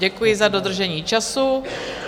Děkuji za dodržení času.